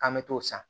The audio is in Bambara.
K'an bɛ t'o san